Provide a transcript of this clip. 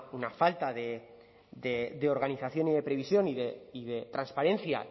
una falta de organización y de previsión y de transparencia